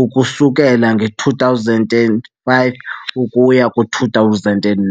ukusukela ngo2005 ukuya ku2009.